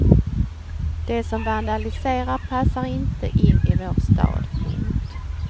De som vandaliserar passar inte in i vår stad. punkt